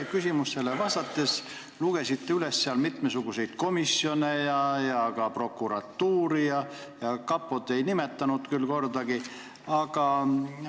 Te küsimusele vastates lugesite üles mitmesuguseid komisjone ja nimetasite ka prokuratuuri, aga kapot kordagi mitte.